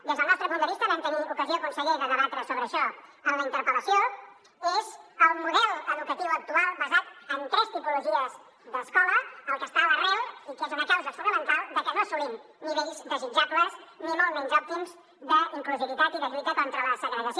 des del nostre punt de vista vam tenir ocasió conseller de debatre sobre això en la interpel·lació és el model educatiu actual basat en tres tipologies d’escola el que està a l’arrel i és una causa fonamental de que no assolim nivells desitjables ni molt menys òptims d’inclusivitat i de lluita contra la segregació